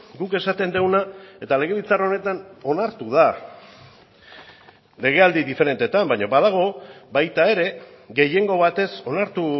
guk esaten duguna eta legebiltzar honetan onartu da legealdi diferenteetan baina badago baita ere gehiengo batez onartu